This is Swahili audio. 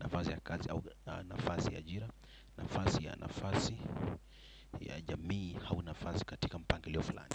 Nafasi ya kazi au nafasi ya jira, nafasi ya nafasi ya jamii au nafasi katika mpangi lio fulani.